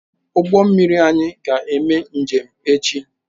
Ụgbọ mmiri anyị ga-eme njem echi.